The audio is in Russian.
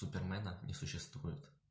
супермена не существует